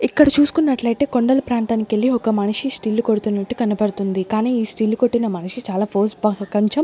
ఇక్కడ చూసుకున్నట్లయితే కొండలు ప్రాంతానికెళ్ళి ఒక మనిషి స్టిల్లు కొడుతున్నట్టు కనపడుతుంది కానీ ఈ స్టిల్ కొట్టిన మనిషి చాలా ఫోజ్ .